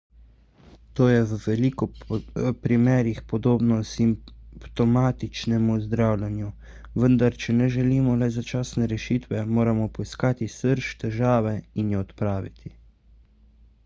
to je v veliko primerih podobno simptomatičnemu zdravljenju vendar če ne želimo le začasne rešitve moramo poiskati srž težave in jo odpraviti